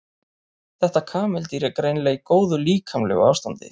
Þetta kameldýr er greinilega í góðu líkamlegu ástandi.